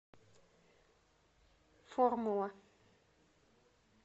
формула